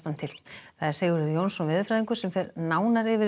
til Sigurður Jónsson veðurfræðingur fer nánar yfir